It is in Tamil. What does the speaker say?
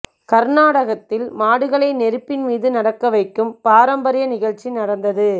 கர்நாடகத்தில் மாடுகளை நெருப்பின் மீது நடக்க வைக்கும் பாரம்பரிய நிகழ்ச்சி நடந்தது